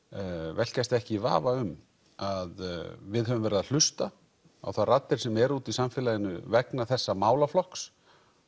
velkjast ekki í vafa um að við höfum verið að hlusta á þær raddir sem eru úti í samfélaginu vegna þessa málaflokks